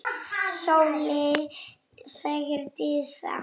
Sóley, sagði Dísa.